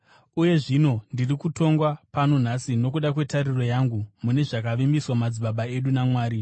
Uye zvino ndiri kutongwa pano nhasi nokuda kwetariro yangu mune zvakavimbiswa madzibaba edu naMwari.